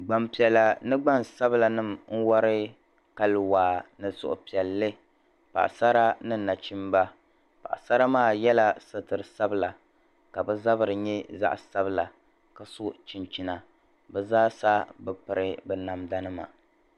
Gban piɛla ni gbansabila wari Kali waa ni suhupiɛlli paɣasara ni nachimba paɣasara maa yɛla suturi sabila ka bɛ zabiri nyɛ zaɣ'sabila ka su'chinchini bɛ zaasa bɛ piri bɛ namda nima.